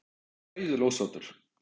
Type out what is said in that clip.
Ég er hræðilega ósáttur.